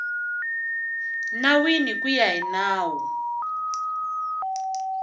nawini ku ya hi nawu